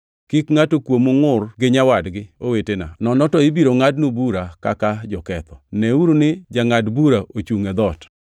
Kik ngʼato kuomu ngʼur gi nyawadgi owetena, nono to ibiro ngʼadnu bura kaka joketho. Neuru ni Jangʼad bura ochungʼ e dhoot!